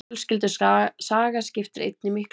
Fjölskyldusaga skiptir einnig miklu máli.